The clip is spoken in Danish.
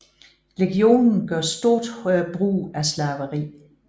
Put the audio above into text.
Legionen gør stort brug af slaveri